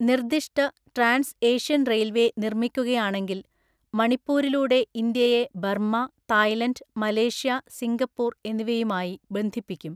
നിർദിഷ്ട trans Asian railway നിർമ്മിക്കുകയാണെങ്കിൽ, മണിപ്പൂരിലൂടെ ഇന്ത്യയെ ബർമ്മ, തായ്‌ലൻഡ്, മലേഷ്യ, സിംഗപ്പൂർ എന്നിവയുമായി ബന്ധിപ്പിക്കും.